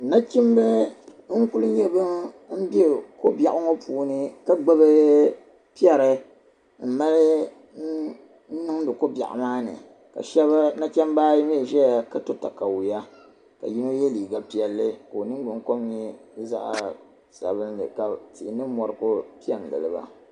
Nachimba n-kuli nyɛ bam be ko' biɛɣu ŋɔ puuni ka gbibi piɛri m-mali n-niŋdi ko' biɛɣu maa ni ka nachimba ayi mi zaya ka to takayua ka yino ye liiga piɛlli ka o niŋgbuŋkom nyɛ zaɣ' sabilinli ka tihi ni mɔri ku pe n-gili ba.